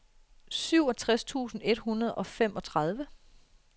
syvogtres tusind et hundrede og femogtredive